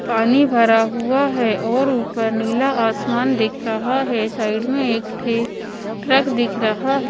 पानी भरा हुआ है और ऊपर नीला आसमान दिख रहा है साइड में एक ट्रक दिख रहा है।